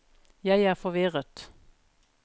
jeg er forvirret